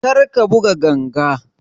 Kar ka buga ganga!